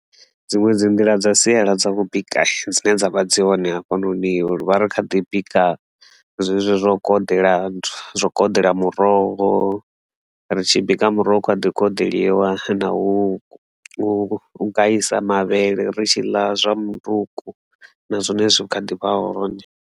Dziṅwe dzi nḓila dza siala dza u bika dzine dzavha dzi hone hafhanoni rivha ri kha ḓi bika zwezwi zwo koḓela nthu, zwo koḓela muroho ri tshi bika muroho a ḓi koḓeḽiwa na u u guisa mavhele ri tshi ḽa zwa muṱuku na zwone zwi kha ḓivha hone.